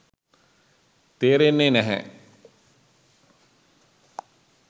තේරෙන්නේ නැහැ.